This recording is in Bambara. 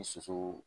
Ni soso